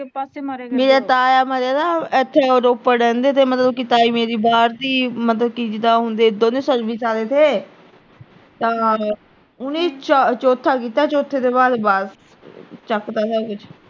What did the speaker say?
ਆਹੋ ਉਹਨੇ ਚਾ ਅਹ ਚੌਥਾ ਕੀਤਾ, ਚੌਥੇ ਤੋਂ ਬਾਅਦ ਬਸ। ਚੱਕ ਤਾ ਸਾਰਾ ਕੁਸ਼